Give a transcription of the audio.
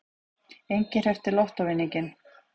Enginn hreppti lottóvinning